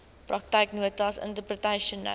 praktyknotas interpretation notes